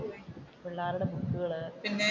പിള്ളേരുടെ ബുക്കുകൾ,